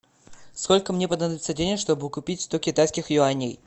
сколько мне понадобится денег чтобы купить сто китайских юаней